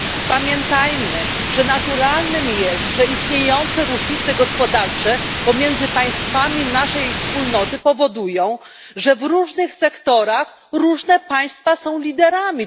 Pamiętajmy, że naturalne jest, iż istniejące różnice gospodarcze pomiędzy państwami naszej wspólnoty powodują, że w różnych sektorach różne państwa są liderami.